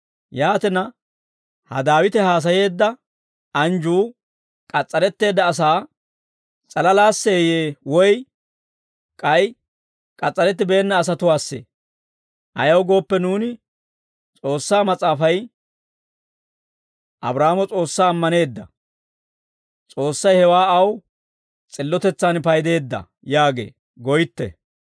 Yaatina, ha Daawite haasayeedda anjjuu k'as's'aretteedda asaa s'alalaasseeyye? Woy k'ay k'as's'arettibeenna asatuwaassee? Ayaw gooppe nuuni, «S'oossaa Mas'aafay, ‹Abraahaamo S'oossaa ammaneedda; S'oossay hewaa aw s'illotetsaan paydeedda› yaagee» goytte.